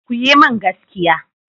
Ku yi min gaskiya.